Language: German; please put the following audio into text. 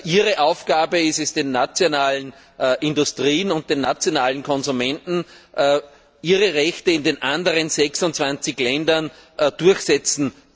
Ihre Aufgabe ist es, den nationalen Industrien und den nationalen Konsumenten zu helfen, ihre Rechte in den anderen 26 Ländern durchzusetzen.